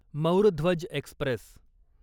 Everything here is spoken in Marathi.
मौर ध्वज एक्स्प्रेस